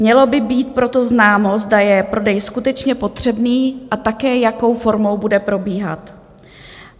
Mělo by být proto známo, zda je prodej skutečně potřebný, a také jakou formou bude probíhat.